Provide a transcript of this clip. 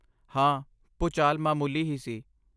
ਹਾਂ, ਭੂਚਾਲ ਮਾਮੂਲੀ ਹੀ ਸੀ